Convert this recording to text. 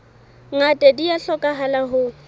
ngata di a hlokahala ho